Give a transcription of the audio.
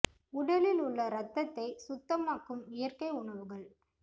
உடலில் உள்ள இரத்தத்தை சுத்தமாக்கும் இயற்கை உணவுகள்